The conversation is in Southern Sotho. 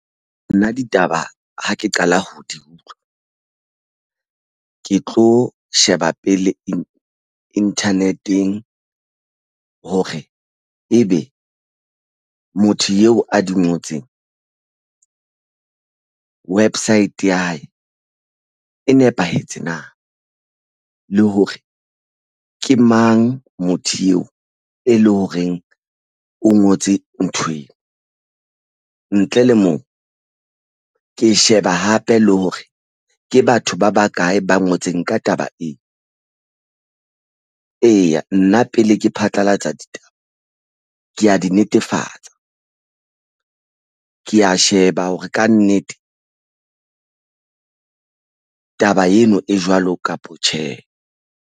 Nna ditaba ha ke qala ho di utlwa ke tlo sheba pele internet-eng hore ebe motho eo a di ngotseng website ya hae e nepahetse na le hore ke mang motho eo e leng horeng o ngotse nthweo ntle le moo ke sheba hape le hore ke batho ba bakae ba ngotseng ka taba ena. Eya, nna pele ke phatlalatsa ditaba ke ya di netefatsa ke ya sheba hore kannete taba eno e jwalo kapa tjhe.